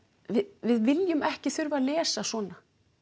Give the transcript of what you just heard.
við viljum ekki þurfa að lesa svona